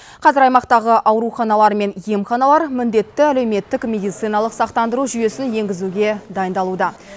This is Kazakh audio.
қазір аймақтағы ауруханалар мен емханалар міндетті әлеуметтік медициналық сақтандыру жүйесін енгізуге дайындалуда